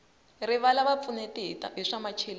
rilava va pfuneti hi swa macheleni